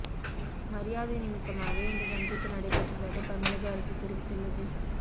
மரியாதை நிமித்தமாக இந்த சந்திப்பு நடைபெற்றதாக தமிழக அரசு தெரிவித்துள்ளது